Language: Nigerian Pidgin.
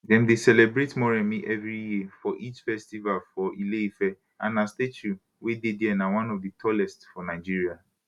dem dey celebrate moremi evri year for lj festival for ile ife and her statue wey dey dia na one of di tallest for nigeria